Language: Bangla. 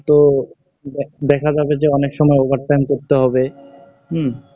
তো দেখা যাবে যে অনেক সময় over time করতে হবে, উম,